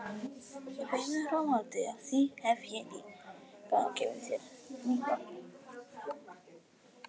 Í beinu framhaldi af því hef ég líka gefið þér nýtt nafn.